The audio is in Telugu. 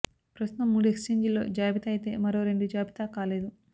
ప్రస్తు తం మూడు ఎక్ఛేంజిల్లో జాబితా అయితే మరో రెండు జాబితా కాలేదు